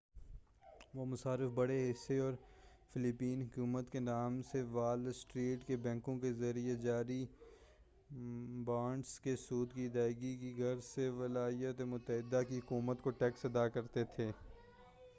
وہ مصارف بڑے حصہ اور فلیپین حکومت کے نام سے وال اسٹریٹ کے بینکوں کے ذریعہ جاری بانڈس کے سود کی ادائیگی کی غرض سے ولایاتِ متحدہ کی حکومت کو ٹیکس ادا کرتے تھے